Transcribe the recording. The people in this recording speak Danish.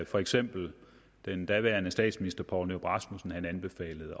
for eksempel den daværende statsminister poul nyrup rasmussen anbefalede